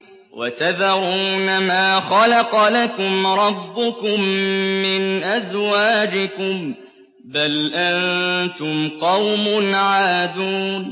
وَتَذَرُونَ مَا خَلَقَ لَكُمْ رَبُّكُم مِّنْ أَزْوَاجِكُم ۚ بَلْ أَنتُمْ قَوْمٌ عَادُونَ